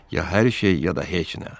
Ya hər şey, ya da heç nə."